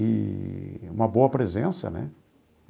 Eee uma boa presença, né?